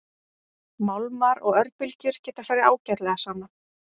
Málmar og örbylgjur geta farið ágætlega saman.